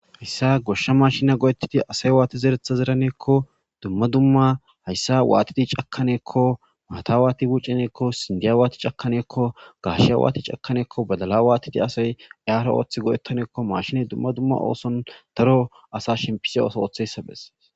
Hayssa goshsha mashina go7etiti asay waati zeretha zeraneekko dumma dumma hayssa waatiti cakkaneekko maata waati guccineekko sindiya waati cakaneekko gashe waati cakaneekko badala waatiti asay iyara ooththi godettaneekko mashiney dumma dumma ooson daro asa shimpise oso ooththessabes